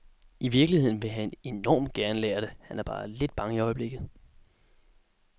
I virkeligheden vil han enormt gerne lære det, han er bare lidt bange i øjeblikket.